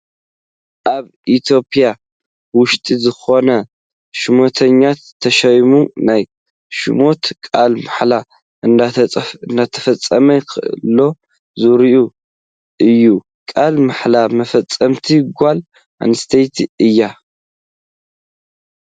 ኣብ ኢ/ያ ውሽጢ ዝኽኑ ሹመተኛታት ተሸይሞም ናይ ሹመቶም ቓለ መሓላ እንዳፈፀሙ ኸለዉ ዘርኢ እዩ ፡ ቓለ መሓላ መፈፀሚት ጓል ኣነስተይቲ እያ ።